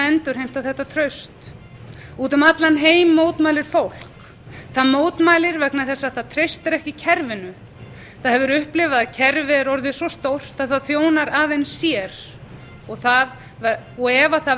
endurheimta þetta traust úti um allan heim mótmælir fólk það mótmælir vegna þess að það treystir ekki kerfinu það hefur upplifað að kerfi er orðið svo stórt að það þjónar aðeins sér og ef það